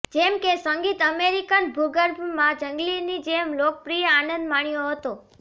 જેમ કે સંગીત અમેરિકન ભૂગર્ભ માં જંગલીની જેમ લોકપ્રિય આનંદ માણ્યો હતો